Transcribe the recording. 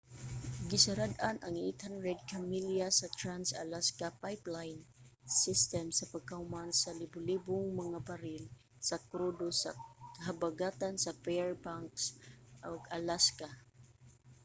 gisarad-an ang 800 ka milya sa trans-alaska pipeline system pagkahuman sa libu-libong mga baril sa krudo sa habagatan sa fairbanks alaska